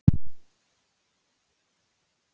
Hann er greinilega sódónískur!